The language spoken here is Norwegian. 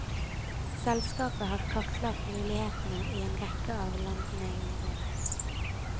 Selskapet har kartlagt mulighetene i en rekke av landene i området.